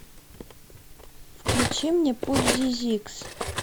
включи мне путь зизикс